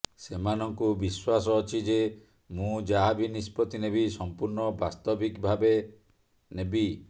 ସେମାନଙ୍କୁ ବିଶ୍ୱାସ ଅଛି ଯେ ମୁଁ ଯାହାବି ନିଷ୍ପତ୍ତି ନେବି ସମ୍ପୂର୍ଣ୍ଣ ବାସ୍ତବିକ ଭାବେ ନେବି